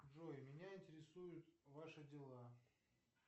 джой меня интересуют ваши дела